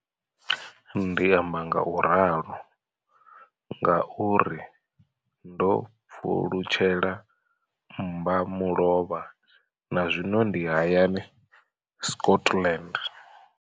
Ndi amba ngauralo nga uri ndo pfulutshela mmbamulovha na zwino ndi hayani, Scotland.